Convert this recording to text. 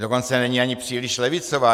Dokonce není ani příliš levicová.